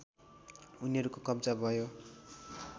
उनीहरूको कब्जा भयो